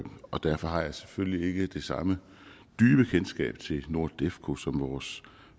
og derfor har jeg selvfølgelig ikke det samme dybe kendskab til nordefco som vores